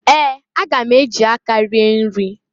Ee! Aga m eji aka rie nri.